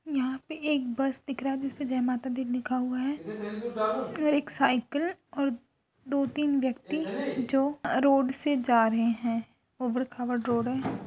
यहाँ पे एक बस दिख रहा है जिसपे जय माता दी लिखा हुआ है और एक साईकिल और दो तीन व्यक्ति जो रोड से जा रहे हैं ऊबड़-खाबड रोड है।